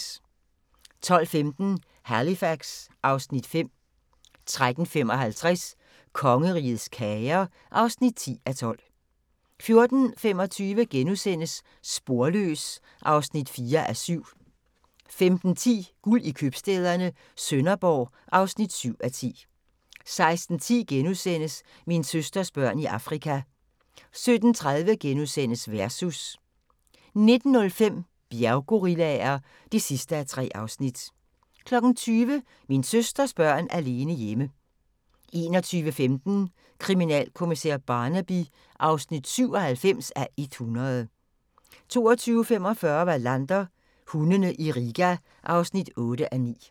12:15: Halifax (Afs. 5) 13:55: Kongerigets kager (10:12) 14:25: Sporløs (4:7)* 15:10: Guld i købstæderne - Sønderborg (7:10) 16:10: Min søsters børn i Afrika * 17:30: Versus * 19:05: Bjerggorillaer (3:3) 20:00: Min søsters børn alene hjemme 21:15: Kriminalkommissær Barnaby (97:100) 22:45: Wallander: Hundene i Riga (8:9)